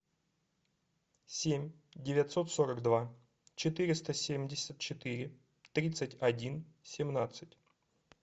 семь девятьсот сорок два четыреста семьдесят четыре тридцать один семнадцать